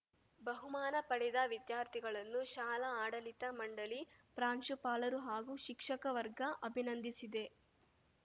ಬಹುಮಾನ ಪಡೆದ ವಿದ್ಯಾರ್ಥಿಗಳನ್ನು ಶಾಲಾ ಆಡಳಿತ ಮಂಡಳಿ ಪ್ರಾಂಶುಪಾಲರು ಹಾಗೂ ಶಿಕ್ಷಕವರ್ಗ ಅಭಿನಂದಿಸಿದೆ